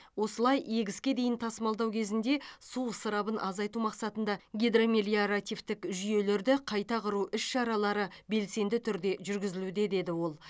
осылай егіске дейін тасымалдау кезінде су ысырабын азайту мақсатында гидромелиоративтік жүйелерді қайта құру іс шаралары белсенді түрде жүргізілуде деді ол